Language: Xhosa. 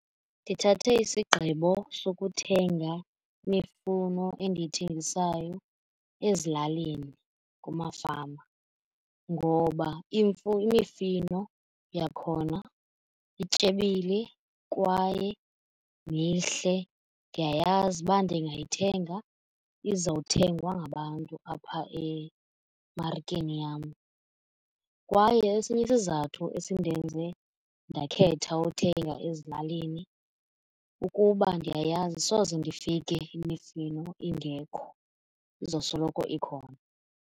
Ndithathe isigqibo sokuthenga imifuno endiyithengisayo ezilalini kumafama ngoba imifino yakhona ityebile kwaye mihle, ndiyayazi uba ndingayithenga izawuthengwa ngabantu apha emarikeni yam. Kwaye esinye isizathu esindenze ndakhetha uthenga ezilalini kukuba ndiyayazi soze ndifike imifino ingekho izosoloko ikhona.